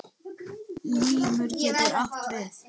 Limur getur átt við